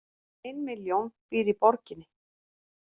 Ein milljón býr í borginni